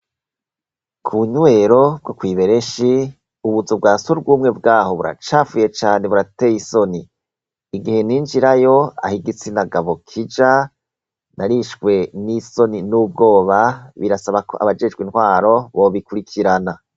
Kubunywero bwo kw'Ibereshi ubuzu bwasugume bwaho buracafuye burateye isoni. Igihe ninjirayo Aho igitsina gabo kija narishwe nisoni n'ubwoba, birasaba KO abajejwe intwaro bobikurikirana.